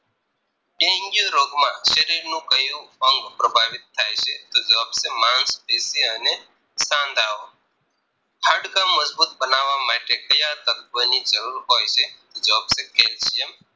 dengue રોગમાં શરીરનું ક્યુ અંગ પ્રભાવિત થાય છે તો જવાબ છે મન સ્થિતિ અને સાંધાઓ હાડકા મજબૂત બનાવવા માટે ક્યાં તત્વની જરૂર હોય છે જવાબ છે Calcium